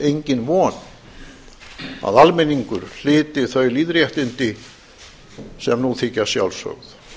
engin von að almenningur hlyti þau lýðréttindi sem nú þykja sjálfsögð